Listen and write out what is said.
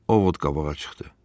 O ov qabağa çıxdı.